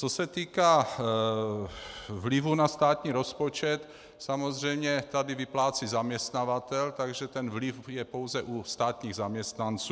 Co se týká vlivu na státní rozpočet, samozřejmě tady vyplácí zaměstnavatel, takže ten vliv je pouze u státních zaměstnanců.